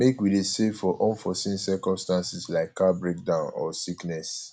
make we dey save for unforeseen circumstances like car breakdown or sickness